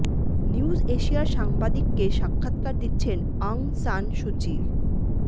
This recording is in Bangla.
নিউজ এশিয়ার সাংবাদিককে সাক্ষাৎকার দিচ্ছেন অং সান সু চি